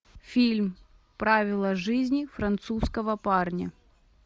фильм правила жизни французского парня